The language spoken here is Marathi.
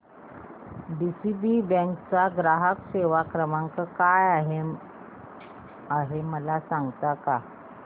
डीसीबी बँक चा ग्राहक सेवा क्रमांक काय आहे मला सांगता का